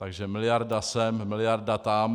Takže miliarda sem, miliarda tam.